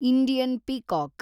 Indian peacock